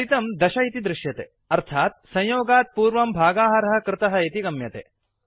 फलितं दश इति दृश्यते अर्थात् संयोगात् पुर्वं भागाहारः कृतः इति गम्यते